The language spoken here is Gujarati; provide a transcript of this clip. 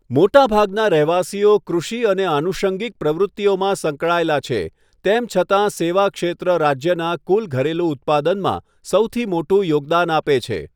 મોટાભાગના રહેવાસીઓ કૃષિ અને આનુષંગિક પ્રવૃત્તિઓમાં સંકળાયેલા છે, તેમ છતાં સેવા ક્ષેત્ર રાજ્યનાં કુલ ઘરેલું ઉત્પાદનમાં સૌથી મોટું યોગદાન આપે છે.